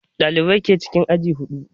Ɗalibai ke cikin aji huɗu